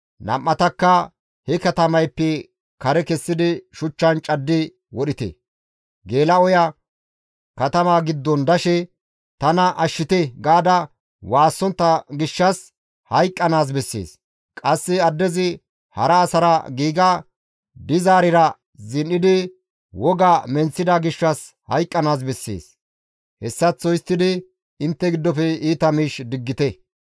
nam7atakka he katamayppe kare kessidi shuchchan caddi wodhite; geela7oya katama giddon dashe, «Tana ashshite» gaada waassontta gishshas hayqqanaas bessees; qasse addezi hara asara giiga dizaarira zin7idi woga menththida gishshas hayqqanaas bessees; hessaththo histtidi intte giddofe iita miish diggite.